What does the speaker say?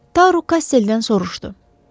Tar Rö Kasseldən soruşdu: